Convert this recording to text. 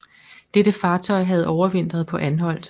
Dette fartøj havde overvintret på Anholt